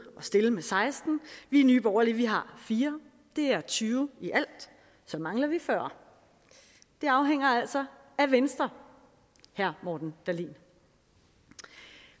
at stille med seksten vi i nye borgerlige har fire det er tyve i alt så mangler vi fyrre det afhænger altså af venstre herre morten dahlin